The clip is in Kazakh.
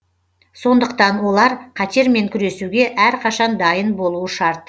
сондықтан олар қатермен күресуге әрқашан дайын болуы шарт